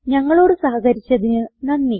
ഞങ്ങളോട് സഹകരിച്ചതിന് നന്ദി